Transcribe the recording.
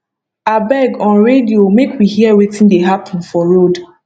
abeg on radio make we hear wetin dey happen for road